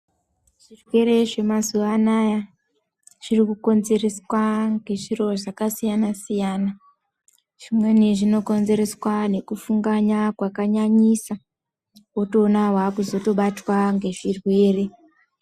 Zvirwere zvemazuwa anaya zvirikukonzereswa ngezviro zvakasiyana-siyana. Zvimweni zvinokonzereswa nekufunganya kwakanyanyisa, wotoona wakuzotobatwa ngezvirwere.